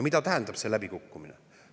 Mida tähendab see läbikukkumine?